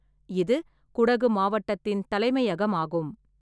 இது குடகு மாவட்டத்தின் தலைமையகமாகும்.